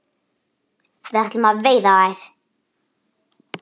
Við ætlum að veiða þær